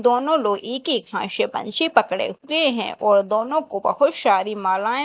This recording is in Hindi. दोनों लोग इक इक हात से पंछी पकड़े हुए हैं और दोनों को बहोत शारी मालाये--